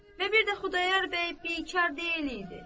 Və bir də Xudayar bəy bikar deyil idi.